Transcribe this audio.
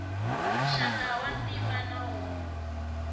muxaka wa ntima na wo